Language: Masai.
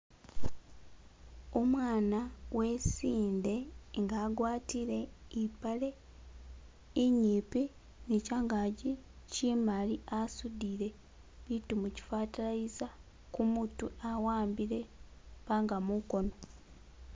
Umwana wesinde nga agwatile ipaleq inyipi ne changaji chimali asudile bitu muki fertilizer kumutwe a'ambile ipànga mukono.